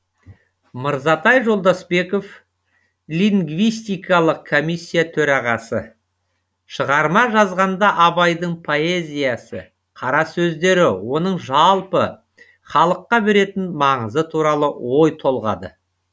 мырзатай жолдасбеков лингвистикалық комиссия төрағасы шығарма жазғанда абайдың поэзиясы қара сөздері оның жалпы халыққа беретін маңызы туралы ой толғады